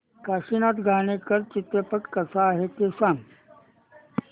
काशीनाथ घाणेकर चित्रपट कसा आहे ते सांग